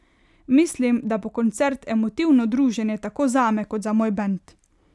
Mislim, da bo koncert emotivno druženje, tako zame kot za moj band.